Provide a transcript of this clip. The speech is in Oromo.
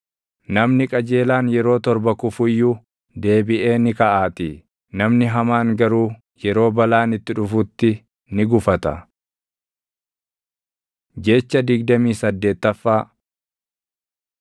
Namni qajeelaan yeroo torba kufu iyyuu, deebiʼee ni kaʼaatii; namni hamaan garuu yeroo balaan itti dhufutti ni gufata. Jecha digdamii saddeettaffaa